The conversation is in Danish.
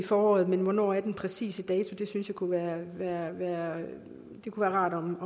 foråret men hvornår er den præcise dato det synes jeg kunne være rart om